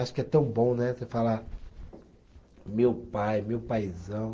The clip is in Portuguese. Acho que é tão bom, né, você falar, meu pai, meu paizão.